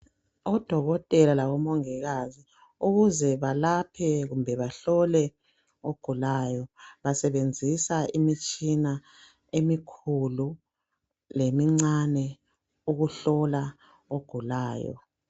Odokotela labomongikazi ukuze balaphe kumbe bahlole umuntu ogulayo basebenzisa imitshina emikhulu lemincane ukuhlola ogulayo.